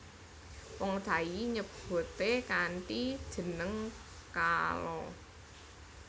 Wong Thai nyebute kanthi jeneng kaalaa